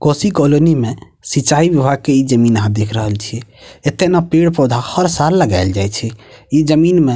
Kosi colony में सिंचाई के इ जमीन आहां देख रहल छीये एता ने पेड़-पौधा हर साल लगायल जाए छै इ जमीन मे --